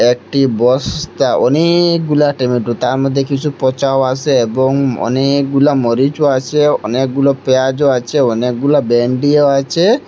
একটি বস্তা অনেকগুলা টমেটো তার মধ্যে কিছু পচাও আসে এবং অনেকগুলা মরিচও আছে অনেকগুলো পিয়াঁজও আছে অনেকগুলো ভেন্ডিও আছে।